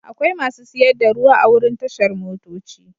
Akwai masu siyar da ruwa a wurin tashar motoci.